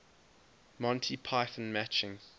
monty python matching